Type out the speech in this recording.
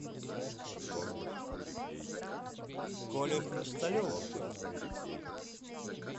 коле хрусталеву